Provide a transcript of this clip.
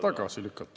Tagasi lükata.